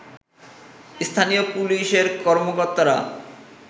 স্থানীয় পুলিশের কর্মকর্তারা